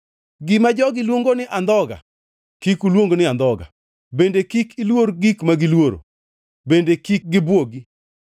“Gima jogi luongo ni andhoga Kik uluong ni andhoga; bende kik iluor gik ma giluoro kendo kik gibwogi.